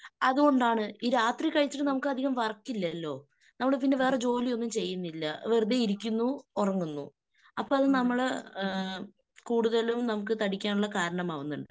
അതുകൊണ്ടാണ്. ഈ രാത്രി കഴിച്ചിട്ട് നമുക്കധികം വർക്ക് ഇല്ലല്ലോ. നമ്മള് പിന്നെ വേറെ ജോലിയൊന്നും ചെയ്യുന്നില്ല. വെറുതെ ഇരിക്കുന്നു ഉറങ്ങുന്നു. അപ്പൊ അത് നമ്മള് കൂടുതലും നമുക്ക് താടിക്കാനുള്ള കാരണമാവുന്നുണ്ട്.